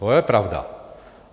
To je pravda.